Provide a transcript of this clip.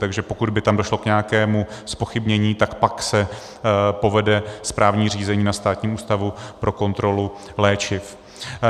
Takže pokud by tam došlo k nějakému zpochybnění, tak pak se povede správní řízení na Státním ústavu pro kontrolu léčiv.